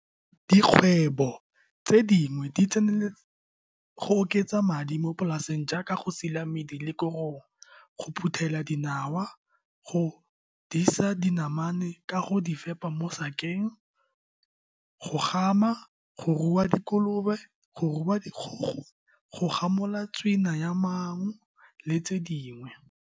Dikgwebo tse dingwe di tseneletse go oketsa madi mo polaseng jaaka go sila mmidi le korong, go phuthela dinawa, go godisa dinamane ka go di fepa mo sakeng, go gama, go rua dikolobe, go rua dikgogo, go gamola tswina ya maungo, le tse dingwe.